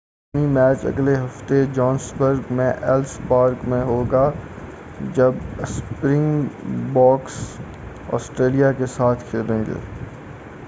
series کا حتمی match اگلے ہفتے جوہانسبرگ میں ایلس پارک میں ہوگا جب اسپرنگ بوکس آسٹریلیا کے ساتھ کھیلیں گے